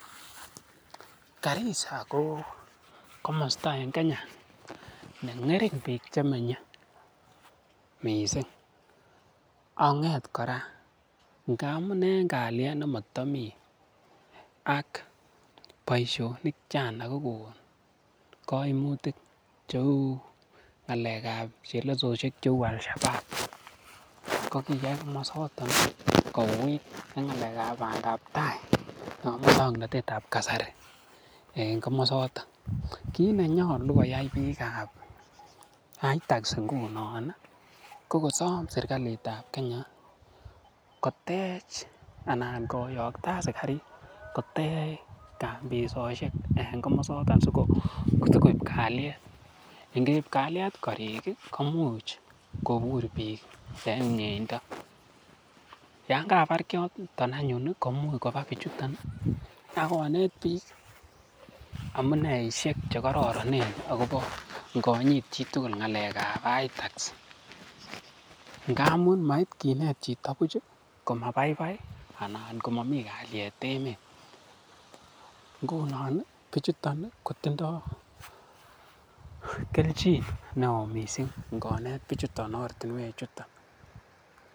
Garissaa en Kenya ko komosta ne ngering bik Che menye mising ak konget kora ngamun en kalyet nemotomi ak boisionik Che anan kogonon kaimutik cheu ngalekab chelososiek cheu Al shababb ko kiyai komasato kouit ak ngalek ab bandap tai chebo moswoknatet ab kasari en komasato kit ne nyolu koyai bikap itax ngunon ko kosom serkalitab kenya kotech anan koyokto asikarik kotech kampisiek en komosaton asi koib kalyet ngeib kalyet korik komuch kobur bik en miendo yon kabar kiatok anyuun komuch koba bichuton ak konet bik amuneisiek Che kororonen akobo ingonyit chitugul agobo ngalekab itax ngamun mait kinet chito buch komabaibai anan ko momi kalyet emet ngunon bichuto kotindoi kelchin neo kot mising ngonet bichuton ortinwechuton